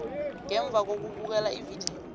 ngemva kokubukela ividiyo